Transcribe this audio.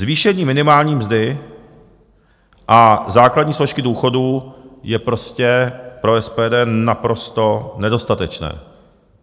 Zvýšení minimální mzdy a základní složky důchodů je prostě pro SPD naprosto nedostatečné.